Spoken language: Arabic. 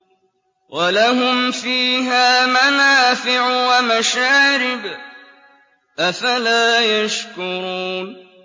وَلَهُمْ فِيهَا مَنَافِعُ وَمَشَارِبُ ۖ أَفَلَا يَشْكُرُونَ